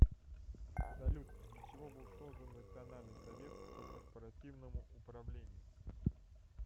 салют для чего был создан национальный совет по корпоративному управлению